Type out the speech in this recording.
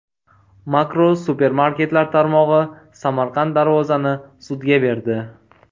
Makro supermarketlar tarmog‘i Samarqand Darvoza’ni sudga berdi.